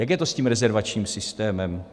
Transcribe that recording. Jak je to s tím rezervačním systémem?